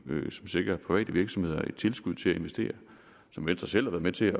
som sikrer private virksomheder et tilskud til at investere og som venstre selv har været med til